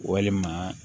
Walima